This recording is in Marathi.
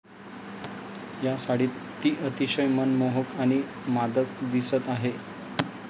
या साडीत ती अतिशय मनमोहक आणि मादक दिसत आहे.